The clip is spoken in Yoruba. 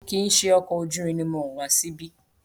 Kìí ṣe ọkọ̀ ojú irin ni mo wọ̀ wá síbí.